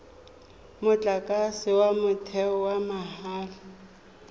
motlakase wa motheo wa mahala